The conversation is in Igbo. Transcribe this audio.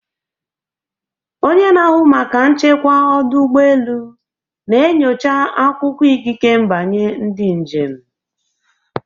Onye na-ahụ maka nchekwa ọdụ ụgbọ elu na-enyocha akwụkwọ ikike mbanye ndị njem.